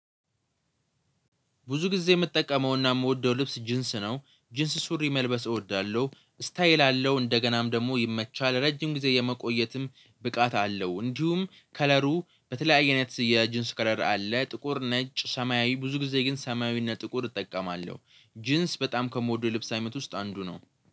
ብዙ ጊዜ የምጠቀመውና የምወደው ልብስ ጅንስ ነው ጅንስ ሱሪ መልበስ እወዳለሁ ስታየል አለው እንደገናም ደግሞ ይመቻል ረጅም ጊዜ የመቆየትም ብቃት አለው እንዲሁም ከለሩ በተለያየ አይነት የጅንስ ከረር አለ ጥቁር ነጭ ሰማያዊ ብዙ ጊዜ ግን ሰማያዊ እና ጥቁር እጠቀማለሁ ጅንስ በጣም ከምወደው ልብስ አይነት ውስጥ አንዱ ነው።